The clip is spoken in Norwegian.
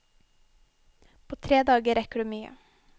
På tre dager rekker du mye.